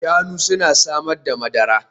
Shanu suna samar da madara